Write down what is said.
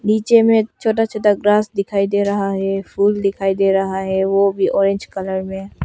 नीचे में छोटा छोटा घांस दिखाई दे रहा है फूल दिखाई दे रहा है वो भी ओरेंज कलर में।